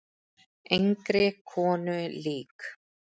Engri konu lík.